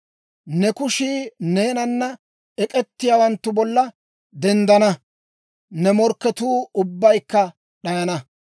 Ne kushii neenana ek'ettiyaawanttu bolla denddana; ne morkketuu ubbaykka d'ayana.